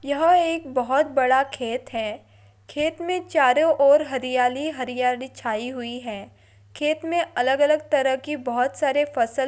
यह एक बहुत बडा खेत है। खेत मे चरो ओर हरियाली ही हरियाली छाई हुई है। खेत मे अलग अलग तरह के बहुत सारे फसल--